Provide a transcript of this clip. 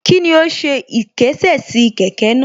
Kíni ó ṣe ìkésè sí kẹ̀kẹ́ náà